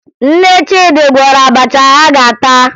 Nne Chidi gwọrọ abacha ha ga-ata